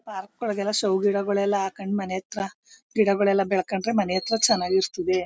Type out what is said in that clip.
Park ಒಳಗೆ show ಗಿಡಗಳು ಹಾಕೊಂಡು ಮನೇತ್ರ ಗಿಡಗಲ್ಲ ಬೆಳ್ಕೊಂಡ್ರೆ ಮನೇತ್ರ ಚೆನ್ನಾಗಿರುತ್ತೆ.